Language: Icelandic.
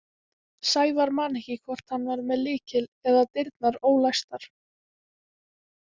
Sævar man ekki hvort hann var með lykil eða dyrnar ólæstar.